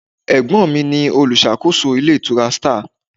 Ẹ̀gbọ́n mi ni olùṣàkóso ilé ìtura Star.